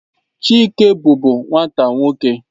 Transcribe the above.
Chike bụbu nwata nwoke.